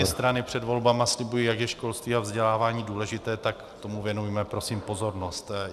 Všechny strany před volbami slibují, jak je školství a vzdělávání důležité, tak tomu věnujme, prosím, pozornost.